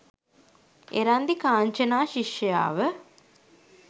Erandi Kanchana ශිෂ්‍යාව